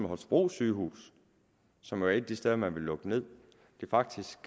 holstebro sygehus som jo er et af de steder man vil lukke ned faktisk